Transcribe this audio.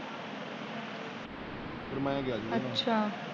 ਫਿਰ ਮੈ ਗਿਆ ਸੀ ।